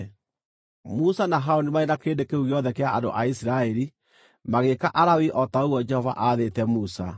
Musa, na Harũni marĩ na kĩrĩndĩ kĩu gĩothe kĩa andũ a Isiraeli magĩĩka Alawii o ta ũguo Jehova aathĩte Musa.